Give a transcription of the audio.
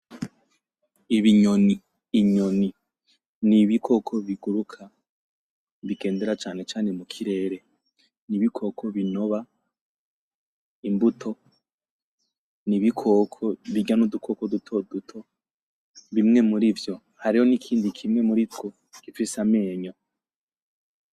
Ibinyoni inyoni ni ibikoko biguruka bigendera cane cane mukirere nibikoko binoba imbuto nibikoko birya nudukoko dutoduto bimwe murivyo hariho nikindi kimwe murivyo gifise amenyo